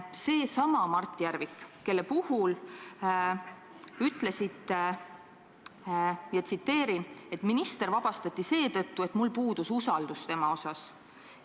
Seesama Mart Järvik, kelle puhul te ütlesite: "Minister vabastati seetõttu, et mul puudus usaldus tema osas.